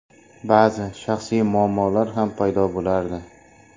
Ba’zi shaxsiy muammolar ham paydo bo‘lardi.